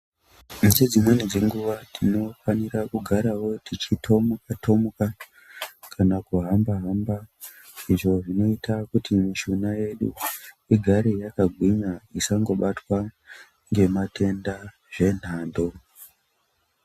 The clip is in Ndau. Ngedzimweni dzenguwa tinofanira kugarawo techitomuka tomuka, kuhamba hamba. Izvo zvinoita kuti mishuna yedu igare yakagwinya isangobatwa ngematenda zvenhando.